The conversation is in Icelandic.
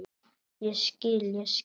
Ég skil, ég skil.